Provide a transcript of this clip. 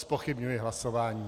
Zpochybňuji hlasování.